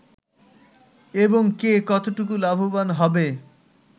এবং কে কতটুকু লাভবান হবে